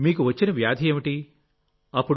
మీకు వచ్చిన వ్యాధి ఏమిటి అప్పుడు